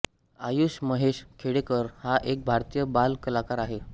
आयुष महेश खेडेकर हा एक भारतीय बाल कलाकार आहे